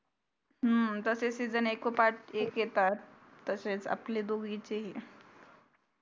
हम्म तसे season एकोपाठ एक येतात तसेच आपले दोघींचेही